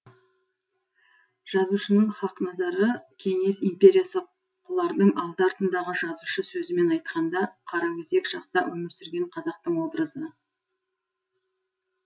жазушының хақназары кеңес империясы құлардың алды артындағы жазушы сөзімен айтқанда қараөзек шақта өмір сүрген қазақтың образы